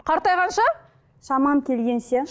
қартайғанша шамам келгенше